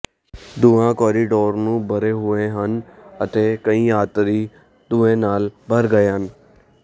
ਧੂੰਆਂ ਕੋਰੀਡੋਰ ਨੂੰ ਭਰੇ ਹੋਏ ਸਨ ਅਤੇ ਕਈ ਯਾਤਰੀ ਧੂੰਏ ਨਾਲ ਭਰ ਗਏ ਸਨ